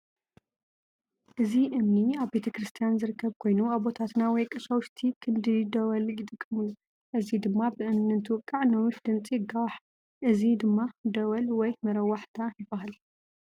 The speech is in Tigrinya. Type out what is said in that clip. እዚ እምኒ ኣብ ቤተክርስትያን ዝርከብ ኮይኑ ኣቦታትና ወይ ቀሻውሽቲ ክንዲ ደወል ይጥቀምሉ። እዚ ድማ ብእምኒ እንትውቃዕ ነዊሕ ድምፂ ይጓዋሕ። እዚ ድማ ደወል ወይ መረዋሕታ ይባሃል።